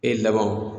E laban wo